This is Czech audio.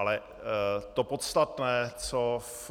Ale to podstatné, co v